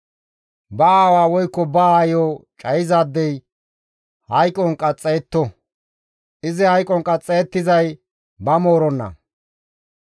« ‹Ba aawa woykko ba aayo cayizaadey hayqon qaxxayetto; izi hayqon qaxxayettizay ba mooronna.